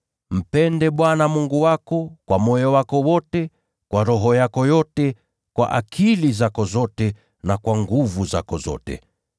Mpende Bwana Mungu wako kwa moyo wako wote, kwa roho yako yote, kwa akili zako zote, na kwa nguvu zako zote.’